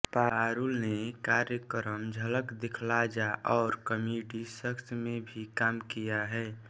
पारुल ने कार्यक्रम झलक दिखला जा और कॉमडी सर्कस में भी काम किया है